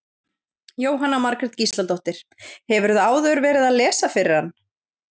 Jóhanna Margrét Gísladóttir: Hefurðu áður verið að lesa fyrir hann?